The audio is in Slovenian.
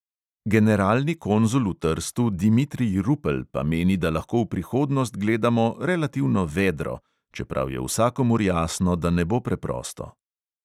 Generalni konzul v trstu dimitrij rupel pa meni, da lahko v prihodnost gledamo "relativno vedro", čeprav je vsakomur jasno, da ne bo preprosto.